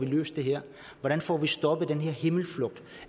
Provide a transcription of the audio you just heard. løst det her hvordan får vi stoppet den her himmelflugt